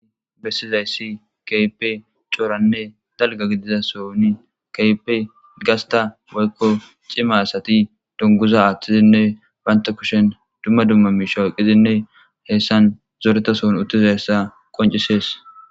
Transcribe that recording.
Bessizayssi keipe cooranne dalga gidiza soni keype gasta waykko cima asati dunguza aaththizinne baynta kushen dumma dumma miisha waqizinne heessan zoreta soon uttizayssa qoncisees